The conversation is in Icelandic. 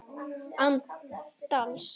Án dals.